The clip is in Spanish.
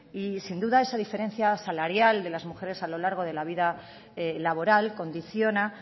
y sin duda esa diferencia salarial de las mujeres a lo largo de la vida laboral condiciona